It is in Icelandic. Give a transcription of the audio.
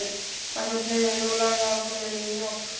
Magnús Hlynur: Nú langar honum í mjólk?